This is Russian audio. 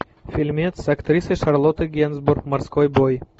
фильмец с актрисой шарлоттой генсбур морской бой